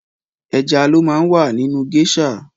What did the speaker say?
Ẹja ló má ń wà nínú géésà.